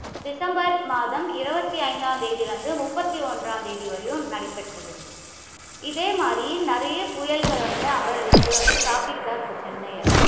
December மாதம் இருபத்தி ஐந்தாம் தேதியிலிருந்து, முப்பத்தி ஒன்றாம் தேதி வரையும் நடைபெற்றது. இதே மாதிரி நிறைய புயல்கள் வந்து அங்க, இங்க வந்து தாக்கிகிட்டு தான் இருக்கு சென்னைய.